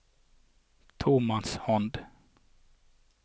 tomannshånd